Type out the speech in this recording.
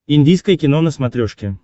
индийское кино на смотрешке